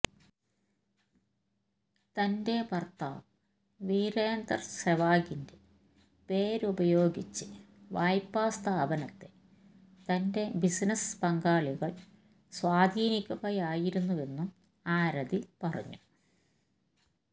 തന്റെ ഭര്ത്താവ് വിരേന്ദര് സെവാഗിന്റെ പേര് ഉപയോഗിച്ച് വായ്പാ സ്ഥാപനത്തെ തന്റെ ബിസിനസ് പങ്കാളികള് സ്വാധീനിക്കുകയായിരുന്നുവെന്നും ആരതി പറഞ്ഞു